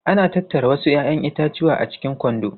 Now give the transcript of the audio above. Ana tattara wasu 'ya'yan itatuwa a cikin kwando.